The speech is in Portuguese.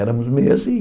Éramos meio assim.